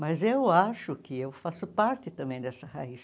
Mas eu acho que eu faço parte também dessa raiz.